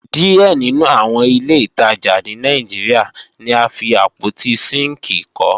Díẹ̀ nínú àwọn ilé ìtajà ní Nàìjíríà ni a fi àpótí sínkìì kọ́